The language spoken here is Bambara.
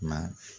Ma